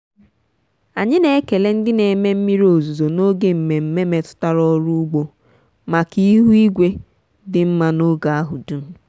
anyị na-ekele ndị na-eme mmiri ozuzo n'oge mmemme metụtara ọrụ ugbo maka ihu igwe dị mma n'oge ahụ dum.